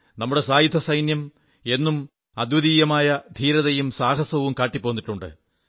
നമ്മുടെ സായുധസൈന്യം എന്നും അദ്വിതീയമായ ധീരതയും സാഹസവും കാട്ടിപ്പോന്നിട്ടുണ്ട്